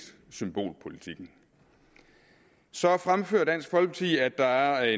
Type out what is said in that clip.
symbolpolitikken så fremfører dansk folkeparti at der er